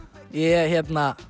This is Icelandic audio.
ég